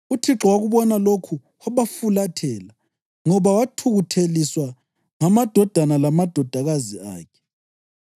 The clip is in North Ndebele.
UThixo wakubona lokhu wabafulathela ngoba wathukutheliswa ngamadodana lamadodakazi akhe.